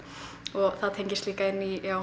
og það tengist líka inn í